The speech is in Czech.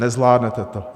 Nezvládnete to.